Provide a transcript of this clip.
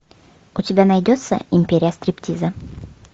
у тебя найдется империя стриптиза